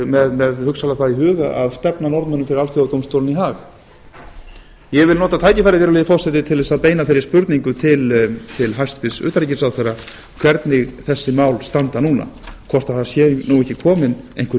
með hugsanlega þá í huga að stefna norðmönnum fyrir alþjóðadómstólinn í haag ég vil nota tækifærið virðulegi forseti til að beina þeirri spurningu til hæstvirts utanríkisráðherra hvernig þessi mál standa núna hvort það sé ekki komin einhver